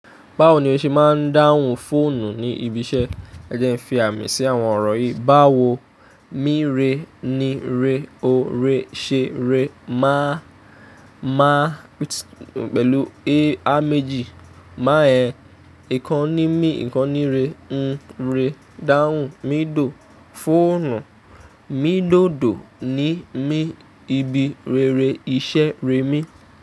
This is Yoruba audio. Báwo ni o ṣe máa ń dáhùn fóònù ní ibi iṣẹ́? Ẹ jẹ́ ẹ fi àmì sí àwọn ọ̀rọ̀ yìí. Báwo, mí rẹ ni, rẹ o, rẹ ṣe, rẹ máa, máa pẹ̀lú a méjì, máa ẹ̀, ìkan ní mi, ìkan ní rẹ, n rẹ dáhùn, mi dùn fóònù, mi dódò ni mi ibi rere iṣẹ́ rẹ mi.